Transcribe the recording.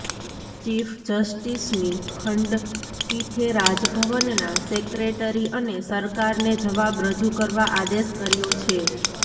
chief જસ્ટિસની ખંડપીઠે રાજભવનના સેક્રેટરી અને સરકારને જવાબ રજૂ કરવા આદેશ કર્યો છે